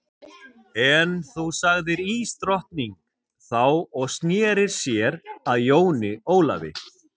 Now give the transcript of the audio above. En þú sagði ísdrottningin þá og sneri sér að Jóni Ólafi.